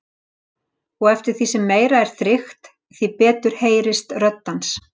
Og eftir því sem meira er þrykkt, því betur heyrist rödd hans.